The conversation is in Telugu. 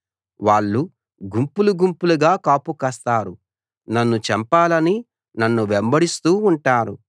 వాళ్ళు గుంపులు గుంపులుగా కాపు కాస్తారు నన్ను చంపాలని నన్ను వెంబడిస్తూ ఉంటారు